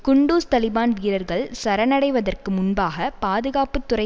குண்டூஸ் தலிபான் வீரர்கள் சரணடைவதற்கு முன்பாக பாதுகாப்பு துறை